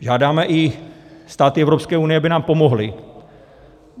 Žádáme i státy Evropské unie, aby nám pomohly.